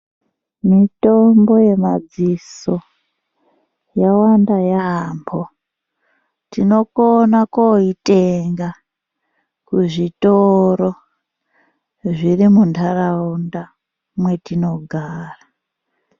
Mitombo yemadziso yawanda yaambo. Tinokona koitenga kuzvitoro zviri muntaraunda mwetinogara.